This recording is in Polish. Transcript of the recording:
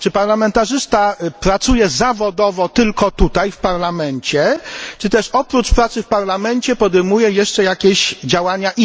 Czy parlamentarzysta pracuje zawodowo tylko tutaj w Parlamencie, czy też oprócz pracy w Parlamencie podejmuje jeszcze jakąś inną działalność?